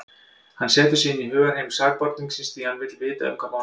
Hann setur sig inn í hugarheim sakborningsins, því hann vill vita um hvað málið snýst.